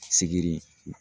Sigiri